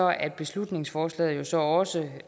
at beslutningsforslaget jo så også